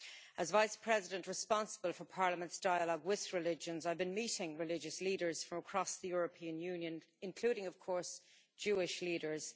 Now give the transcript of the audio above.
As Vice-President responsible for Parliament's dialogue with religions, I have been meeting religious leaders from across the European Union including, of course, Jewish leaders.